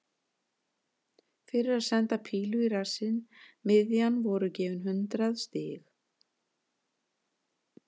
Fyrir að senda pílu í rassinn miðjan voru gefin hundrað stig.